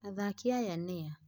Athaki aya nĩa?